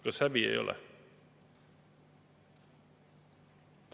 Kas häbi ei ole?